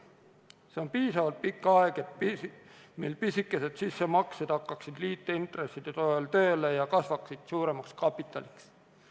See on piisavalt pikk aeg, et pisikesed sissemaksed hakkasid liitintresside toel tööle ja kasvaksid suuremaks kapitaliks.